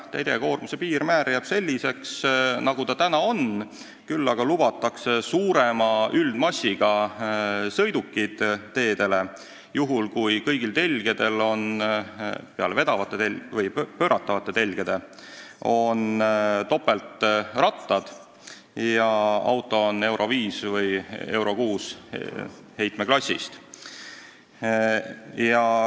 Teljekoormuse piirmäär jääb selliseks, nagu ta on, küll aga lubatakse teedele suurema üldmassiga sõidukid, juhul kui kõigil telgedel peale pööratavate telgede on topeltrattad ja auto on EURO V või EURO VI heitmeklassist.